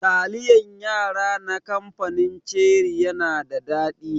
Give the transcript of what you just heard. Taliyan yara na kamfanin ceri yana da daɗi.